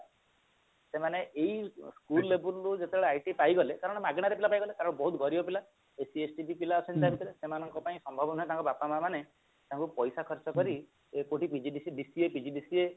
ସେମାନେ ଏଇ school label ରୁ IT ପାଇଗଲେ କାରଣ ମାଗଣାରେ ପିଲା ପାଇଗଲେ କାରଣ ବହୁତ ଗରିବ ପିଲା ST SC ବି ପିଲା ଅଛନ୍ତି ତ ଭିତରେ ସେମାନଙ୍କ ପାଇଁ ସମ୍ଭବ ନୁହଁ ତାଙ୍କ ବାପା ମା ମାନେ ତାଙ୍କୁ ପଇସା ଖର୍ଚ ଏତୋଟି PGDCA DCA PGDCA